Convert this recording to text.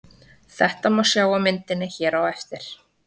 Þetta má sjá á myndinni hér á eftir.